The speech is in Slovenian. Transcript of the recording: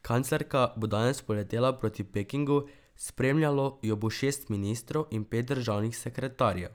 Kanclerka bo danes poletela proti Pekingu, spremljalo jo bo šest ministrov in pet državnih sekretarjev.